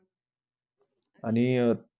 आणि अह